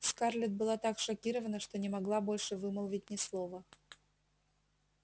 скарлетт была так шокирована что не могла больше вымолвить ни слова